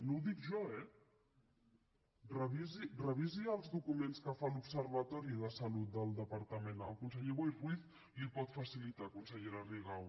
no ho dic jo eh revisi els documents que fa l’observatori de salut del departament el conseller boi ruiz els hi pot facilitar consellera rigau